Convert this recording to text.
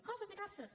coses diverses